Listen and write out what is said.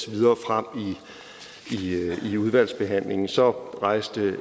videre frem i udvalgsbehandlingen så rejste